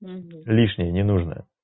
угу лишнее не нужное